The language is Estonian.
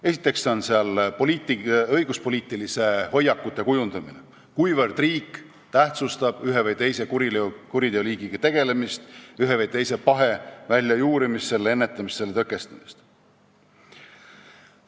Esiteks kuulub sinna hulka õiguspoliitiliste hoiakute kujundamine, see, kuivõrd riik tähtsustab ühe või teise kuriteoliigiga tegelemist, ühe või teise pahe väljajuurimist, selle ennetamist, selle tõkestamist.